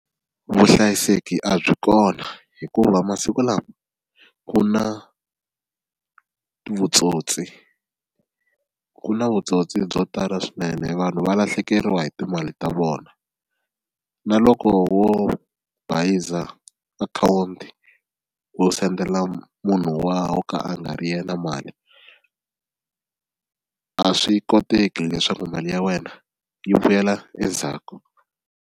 Vuhlayiseki a byi kona hikuva masiku lawa ku na vutsotsi ku na vutsotsi byo tala swinene vanhu va lahlekeriwa hi timali ta vona na loko wo bayiza akhawunti wo sendela munhu wa wo ka a nga ri yena mali a swi koteki leswaku mali ya wena yi vuyela endzhaku.